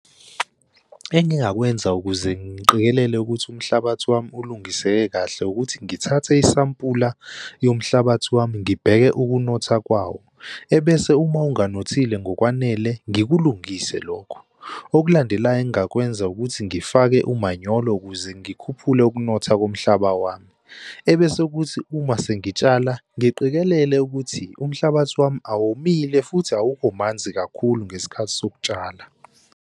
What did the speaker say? Engingakwenza ukuze ngiqikelele ukuthi umhlabathi wami ulungiseke kahle ukuthi ngithathe isampula yomhlabathi wami, ngibheke ukunotha kwawo, ebese uma ungenothile ngokwanele, ngikulungise lokho. Okulandelayo engingakwenza ukuthi ngifake umanyolo ukuze ngikhuphule ukunotha komhlaba wami. Ebese kuthi uma sengitshala ngiqikelele ukuthi umhlabathi wami awomile futhi awukho manzi kakhulu ngesikhathi sokutshala.